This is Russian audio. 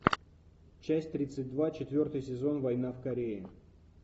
часть тридцать два четвертый сезон война в корее